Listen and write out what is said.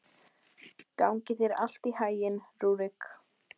Hann hefur ekki gott af þessu svona fullorðinn, fjasaði amma.